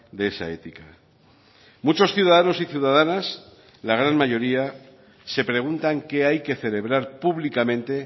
de esa ética muchos ciudadanos y ciudadanas la gran mayoría se preguntan qué hay que celebrar públicamente